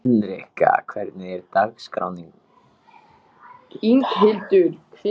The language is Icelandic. Rödd Berthu skalf þegar hún sá bróður sinn.